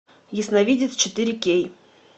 ясновидец четыре кей